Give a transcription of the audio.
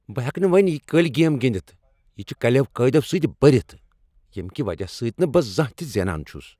بہٕ ہیٚکہٕ نہٕ وۄنۍ یہ کٔلۍ گیم گنٛدتھ۔ یہ چھ کَلیو قاعدو سۭتۍ بٔرتھ ییٚمہ کہ وجہ سۭتۍ نہٕ بہٕ زانٛہہ تِہ زینان چھس۔